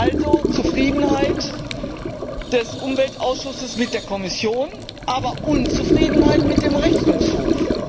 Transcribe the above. Also Zufriedenheit des Umweltausschusses mit der Kommission, aber Unzufriedenheit mit dem Rechnungshof.